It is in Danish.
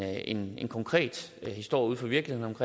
en konkret historie ude fra virkelighedens